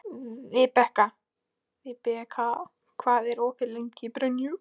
Vibeka, hvað er opið lengi í Brynju?